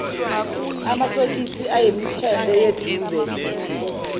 amasokisi ayemithende yedube